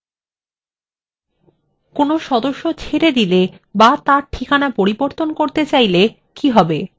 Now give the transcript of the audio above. কোনো সদস্য ছেড়ে দিলে অথবা তাঁর ঠিকানা পরিবর্তন করতে চাইলে তাহলে কি হবে